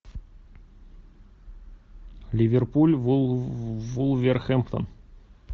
ливерпуль вулверхэмптон